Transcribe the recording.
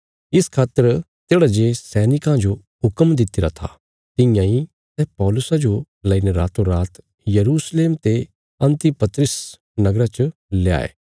इस खातर तेढ़ा जे सैनिकां जो हुक्म दित्तिरा था तियां इ सै पौलुसा जो लईने रातोंरात यरूशलेम ते अन्तिपत्रिस नगरा च ल्याये